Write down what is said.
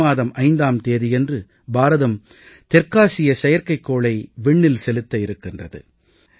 மே மாதம் 5ஆம் தேதியன்று பாரதம் தெற்காசிய செயற்கைக்கோளை விண்ணில் செலுத்த இருக்கிறது